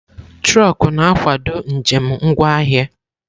Trọkú na-akwado njem ngwa ahịa.